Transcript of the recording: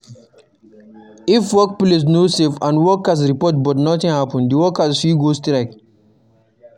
If workplace no safe and workers report but nothing happen, the workers fit go strike